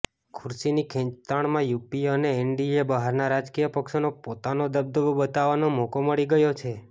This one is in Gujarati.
ખુરશીની ખેંચતાણમાં યુપીએ અને એનડીએ બહારના રાજકીય પક્ષોનો પોતાનો દબદબો બતાવવાનો મોકો મળી ગયો છે